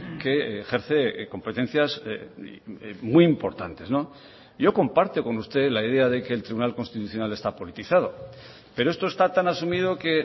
que ejerce competencias muy importantes yo comparto con usted la idea de que el tribunal constitucional está politizado pero esto está tan asumido que